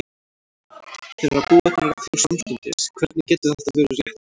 Þeir eru að búa til reglur samstundis, hvernig getur það verið réttlátt?